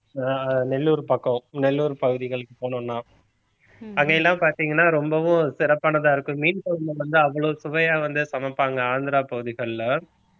அஹ் நெல்லூர் பக்கம் நெல்லூர் பகுதிகளுக்கு போனோம்னா அங்க எல்லாம் பார்த்தீங்கன்னா ரொம்பவும் சிறப்பானதா இருக்கும் மீன் குழம்பு வந்து அவ்வளவு சுவையா வந்து சமைப்பாங்க ஆந்திர பகுதிகள்ல